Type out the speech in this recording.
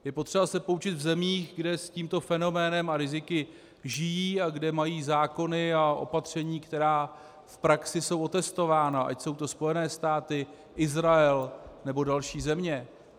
Je potřeba se poučit v zemích, kde s tímto fenoménem a riziky žijí a kde mají zákony a opatření, která v praxi jsou otestována, ať jsou to Spojené státy, Izrael nebo další země.